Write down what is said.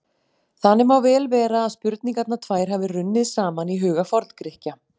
Þannig má vel vera að spurningarnar tvær hafi runnið saman í huga Forngrikkja.